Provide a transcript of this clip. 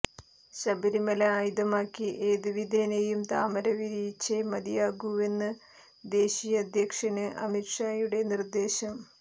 ശബരിമല ആയുധമാക്കി ഏത് വിധേനയും താമര വിരിയിച്ചേ മതിയാകൂവെന്നാണ് ദേശീയ അധ്യക്ഷന് അമിത് ഷായുടെ നിര്ദ്ദേശം